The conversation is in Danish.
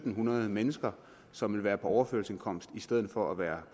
hundrede mennesker som vil være på overførselsindkomst i stedet for at være